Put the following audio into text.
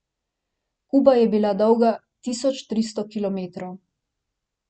Kuba je bila dolga tisoč tristo kilometrov.